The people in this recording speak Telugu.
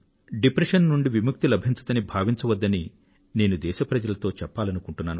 డిప్రెషన్ నుండి విముక్తి లభించదని భావించద్దని నేను దేశ ప్రజలతో చెప్పాలనుకుంటున్నాను